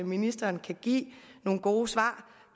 ministeren kan give nogle gode svar